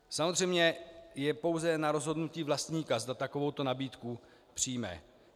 Samozřejmě je pouze na rozhodnutí vlastníka, zda takovouto nabídku přijme.